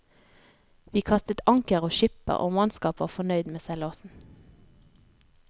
Vi kastet anker og skipper og mannskap var fornøyd med seilasen.